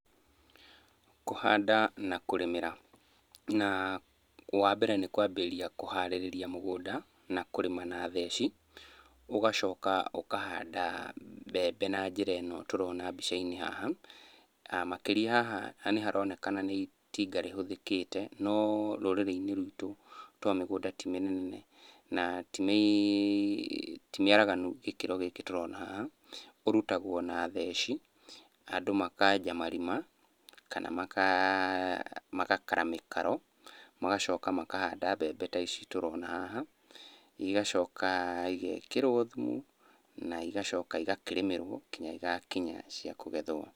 Kũhanda na kũrĩmĩra, na wambere nĩ kwambĩrĩria kũharĩrĩria mũgũnda na kũrĩma na theci, ũgacoka ũkahanda mbembe na njĩra ĩno tũrona mbica-inĩ haha. Makĩri ya haha nĩharonekana nĩ itinga rĩhũthĩkĩte, no rũrĩrĩ-inĩ rwitũ tondũ mĩgũnda ti mĩnene, na ti mĩaraganu gĩkĩro gĩkĩ tũrona haha, ũrutagwo na theci, andũ makenja marima kana magakara mĩkaro magacoka mahanda mbembe ta ici tũrona haha, igacoka igekĩrwo thumu, na igacoka igakĩrĩmĩrwo nginya igakinya cia kũgethwo.